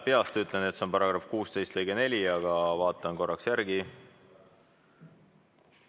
Peast ütlen, et see on § 16 lõige 4, aga vaatan korraks järele.